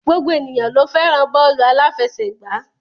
Gbogbo ènìyàn ló fẹ́ràn bọ́ọ́lù aláfẹsẹ̀gbá.